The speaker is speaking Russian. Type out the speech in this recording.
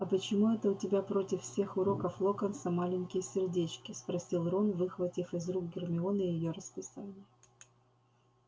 а почему это у тебя против всех уроков локонса маленькие сердечки спросил рон выхватив из рук гермионы её расписание